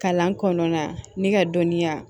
Kalan kɔnɔna ni ka dɔnniya